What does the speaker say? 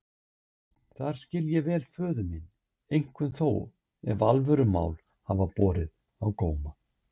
Þar skil ég vel föður minn, einkum þó ef alvörumál hafa borið á góma.